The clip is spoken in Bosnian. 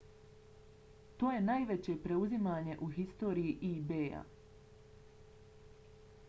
to je najveće preuzimanje u historiji ebaya